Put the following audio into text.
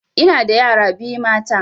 Ina da yara biyu mata